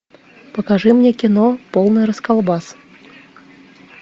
покажи мне кино полный расколбас